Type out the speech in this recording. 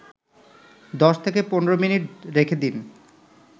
১০-১৫ minute রেখে দিন